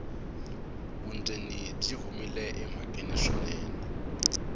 vundzeni byi humile emhakeni swinene